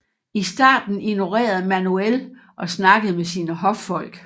I starten ignorerede Manuel og snakkede med sine hoffolk